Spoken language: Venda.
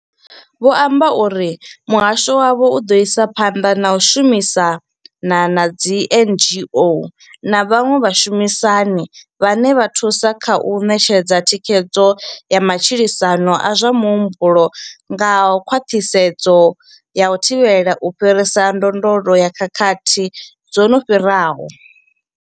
Vho amba uri muhasho wavho u ḓo isa phanḓa na u shumisana na dzi NGO na vhaṅwe vhashumisani vhane vha thusa kha u ṋetshedza thikhedzo ya matshilisano a zwa muhumbulo nga khwaṱhisedzo ya u thivhela u fhirisa ndondolo ya khakhathi dzo no fhiraho.